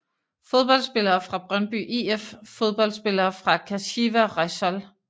Fodboldspillere fra Brøndby IF Fodboldspillere fra Kashiwa Reysol